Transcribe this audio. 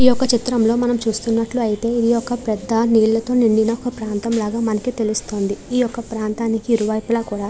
ఈ యొక్క చిత్రంలో మనం చూస్తున్నట్లు అయితే ఈ యొక్క పెద్ద నీళ్లతో నిండిన ఒక ప్రాంతం లాగా మనకి తెలుస్తుంది ఈ యొక్క ప్రాంతానికి ఇరు వైపులా కూడ --